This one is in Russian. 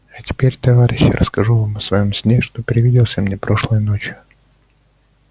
а теперь товарищи я расскажу вам о своём сне что привиделся мне прошлой ночью